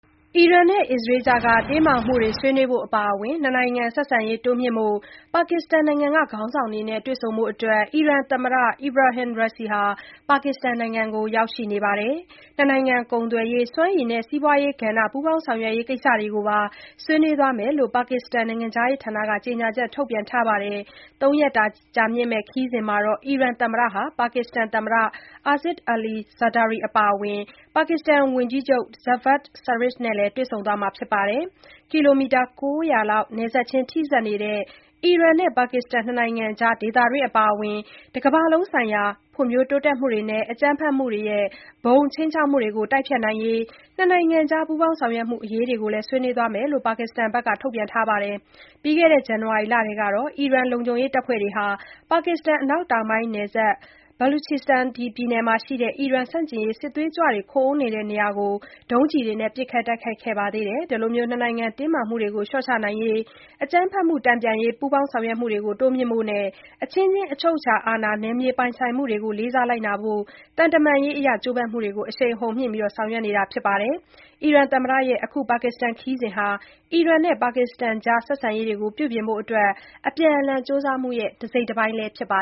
အီရန်နဲ့ အစ္စရေးကြားက တင်းမာမှုတွေအပါအ၀င် နှစ်နိုင်ငံဆက်ဆံရေးတိုးမြှင့်ရေး ပါကစ္စတန်နိုင်ငံက ခေါင်းဆောင်တွေနဲ့ တွေ့ဆုံဖို့ အီရန်သမ္မတ Ebrahim Raisi ဟာ ပါကစ္စတန်နိုင်ငံကို ရောက်ရှိနေပါတယ်။ နှစ်နိုင်ငံကုန်သွယ်ရေး၊ စွမ်းရည်နဲ့ စိုက်ပျိုးရေးကဏ္ဍ ပူးပေါင်းဆောင်ရွက်ရေး ကိစ္စတွေကိုပါ ဆွေးနွေးသွားမယ်လို့ ပါကစ္စတန် နိုင်ငံခြားရေးဌာနက ကြေညာချက်ထုတ်ပြန်ထားပါတယ်။ ဒီ ၃ရက်ကြာ ခရီးစဉ်မှာ အီရန် သမ္မတဟာ ပါကစ္စတန် သမ္မတ Asif Ali Zardari အပါအ၀င် ဝန်ကြီးချုပ် Shehbaz Sharif နဲ့လည်း တွေ့ဆုံသွားမှာပါ။ ကီလိုမီတာ ၉၀၀လောက် နယ်စပ်ခြင်းထိစပ်နေတဲ့ အီရန်နဲ့ ပါကစ္စတန် နှစ်နိုင်ငံအနေနဲ့ ဒေသတွင်းအပါအဝင် တကမ္ဘာလုံးဆိုင်ရာ ဖွံ့ဖြိုးတိုးတက်မှုတွေနဲ့ အကြမ်းဖက်မှုတွေရဲ့ ဘုံခြိမ်းခြောက်မှုတွေကို တိုက်ဖျက်ဖို့ နှစ်နိုင်ငံကြား ပူးပေါင်းဆောင်ရွက်ဖို့အရေးကိုလည်း ဆွေးနွေးသွားမယ်လို့ ပါကစ္စတန်ဘက်က ထုတ်ပြန်ချက်မှာ ဖော်ပြထားပါတယ်။ ပြီးခဲ့တဲ့ ဇန်န၀ါရီလထဲကတော့ အီရန်လုံခြုံရေးတပ်ဖွဲ့တွေဟာ ပါကစ္စတန်အနောက်တောင်ပိုင်းနယ်စပ် Baluchistan ပြည်နယ်မှာရှိတဲ့ အီရန်ဆန့်ကျင်ရေးစစ်သွေးကြွတွေ ခိုအောင်းနေတဲ့နေရာကို ဒုံးကျည်တွေနဲ့ ပစ်ခတ်တိုက်ခိုက်ခဲ့ပါသေးတယ်။ ဒီလို နှစ်နိုင်ငံ တင်းမာမှုတွေကို လျှော့ချနိုင်ဖို့အတွက် အကြမ်းဖက်မှု တန်ပြန်ရေး ပူးပေါင်းဆောင်ရွက်မှုတွေကို တိုးမြှင့်ရန်နဲ့ အချင်းချင်း အချုပ်အခြာအာဏာ နယ်မြေပိုင်ဆိုင်မှုကို လေးစားလိုက်နာရန် သံတမန်ရေးအရ ကြိုးပမ်းမှုတွေကို အရှိန်အဟုန်မြှင့် ဆောင်ရွက်နေကြတာပါ။ အီရန်သမ္မတရဲ့ အခု ခရီးစဉ်ဟာလည်း အီရန်နဲ့ ပါကစ္စတန်ကြား ဆက်ဆံရေးကို ပြုပြင်ဖို့အတွက် အပြန်အလှန် ကြိုးပမ်းမှု တစိတ်တပိုင်းလည်းဖြစ်ပါ